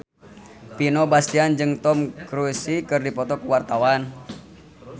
Vino Bastian jeung Tom Cruise keur dipoto ku wartawan